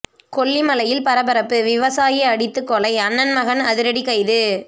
கொல்லிமலையில் பரபரப்பு விவசாயி அடித்து கொலை அண்ணன் மகன் அதிரடி கைது